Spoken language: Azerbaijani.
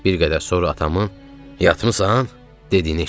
Bir qədər sonra atamın "yatmısan?" dediyini eşitdim.